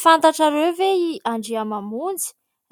Fantatrareo ve i Andriamamonjy ?